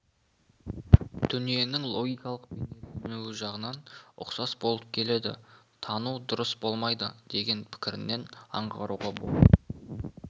дүниенің логикалық бейнеленуі жағынан ұқсас болып келеді тану дұрыс болмайды деген пікірінен аңғаруға болады